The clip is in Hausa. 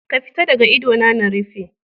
Ka fita daga idona na rufe.